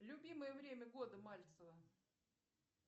любимое время года мальцева